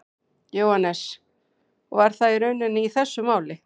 Jóhannes: Og var það raunin í þessu máli?